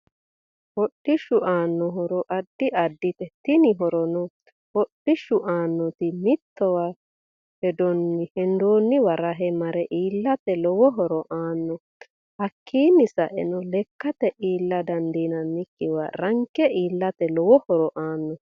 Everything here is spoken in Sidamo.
Hodhishu aano horo addi addite tini horono hodhishu aanoti mittowa hendooniwa rahe mare iilate lowo horo aano hakiini saeno lekkate iilla dandiinanikiwa ranke iilate lowo horo aano